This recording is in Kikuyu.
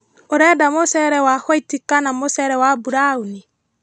ũrenda mũcere wa hwaiti kana mũcere wa mburaũni?